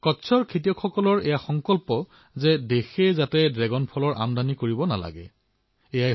কচ্ছৰ কৃষকসকলৰ সংকল্প এয়াই যে দেশে যাতে ড্ৰেগন ফলৰ আমদানি কৰিবলগীয়া নহয়